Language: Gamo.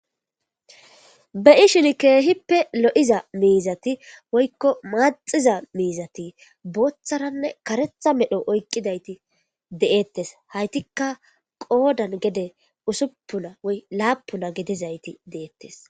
Be'ishin kehippe loo'za mizathi woykko maxiza mizathi botharane karetha medho oyqidaytti de'thess hayttikka qodan usuppuna woyy lappuna gidethess.